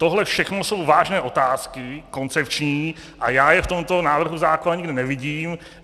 Tohle všechno jsou vážné otázky, koncepční a já je v tomto návrhu zákona nikde nevidím.